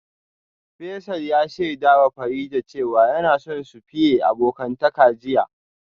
Faisal ya shaidawa Farida cewa yana son su fiye abokantaka jiya